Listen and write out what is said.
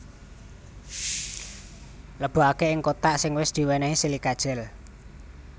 Lebokaké ing kothak sing wis diwénéhi silika gel